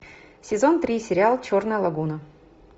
сезон три сериал черная лагуна